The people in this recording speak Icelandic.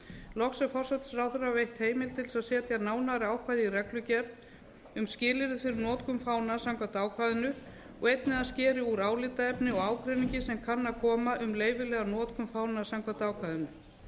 loks er forsætisráðherra veitt heimild til þess að setja nánari ákvæði i reglugerð um skilyrði fyrir notkun fánans samkvæmt ákvæðinu og einnig að hann skeri úr álitaefni og ágreiningi sem kann að koma um leyfilega notkun fánans samkvæmt ákvæðinu